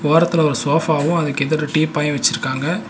ஓரத்துல ஒரு சோஃபாவு அதுக்கு எதிர டீப்பாயு வெச்சிருக்காங்க.